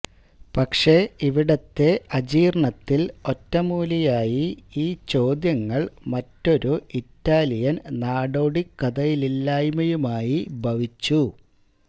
പക്ഷേ ഇവിടത്തെ അജീർണ്ണത്തിൽ ഒറ്റമൂലിയായി ഈ ചോദ്യങ്ങൾ മറ്റൊരു ഇറ്റാലിയൻ നാടോടിക്കഥയില്ലായ്മയുമായി ഭവിച്ചു